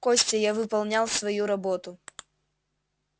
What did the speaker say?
костя я выполнял свою работу